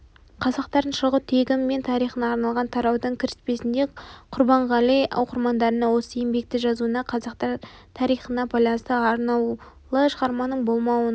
қазақтардың шығу тегі мен тарихына арналған тараудың кіріспесінде құрбанғали оқырмандарына осы еңбекті жазуына қазақтар тарихына байланысты арнаулы шығарманың болмауының